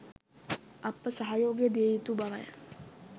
අප සහයෝගය දිය යුතු බවයි.